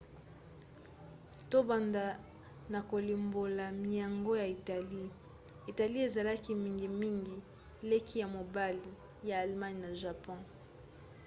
tobanda na kolimbola miango ya italie. italie ezalaki mingimingi leki ya mobali ya allemagne na japon